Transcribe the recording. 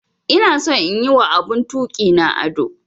Ina son in yi wa abun tuki na ado.